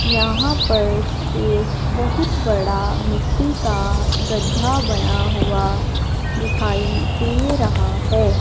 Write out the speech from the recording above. यहां पर एक बहुत बड़ा मिट्टी का गड्ढा बना हुआ दिखाई दे रहा है।